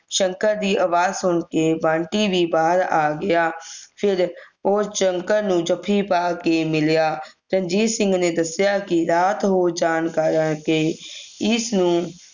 ਸ਼ੰਕਰ ਦੀ ਆਵਾਜ ਸੁਨ ਕੇ ਬੰਟੀ ਵੀ ਬਾਹਰ ਆ ਗਿਆ ਫਿਰ ਉਹ ਸ਼ੰਕਰ ਨੂੰ ਜਪੀ ਪਾ ਕੇ ਮਿਲਿਆ ਰਣਜੀਤ ਸਿੰਘ ਨੇ ਦੱਸਿਆ ਕਿ ਰਾਤ ਹੋ ਜਾਣ ਕਾਰਨ ਕੇ ਇਸ ਨੂੰ